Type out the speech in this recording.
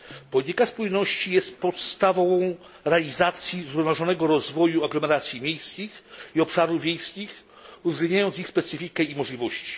Polityka spójności jest podstawą realizacji zrównoważonego rozwoju aglomeracji miejskich i obszarów wiejskich, uwzględniając ich specyfikę i możliwości.